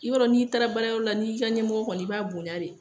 I yɔrɔ n'i taara baara yɔrɔ la n'i ka ɲɛmɔgɔ kɔni ye , i b'a bonya de.